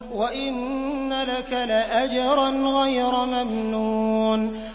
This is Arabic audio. وَإِنَّ لَكَ لَأَجْرًا غَيْرَ مَمْنُونٍ